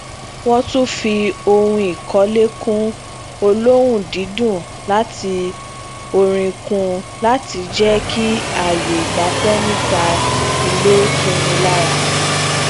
wón tún fi ohunikọlẹkun olohun didun àti orin kún un láti jẹ kí aaye igbafẹ nita ile tunni lara